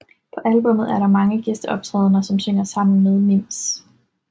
På albumet er der mange gæsteoptrædne som synger sammen med Mims